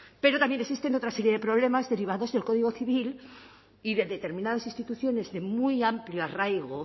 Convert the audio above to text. pero también existen otra serie de problemas derivados del código civil y de determinadas instituciones de muy amplio arraigo